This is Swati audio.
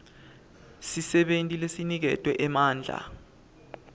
sisebenti lesiniketwe emandla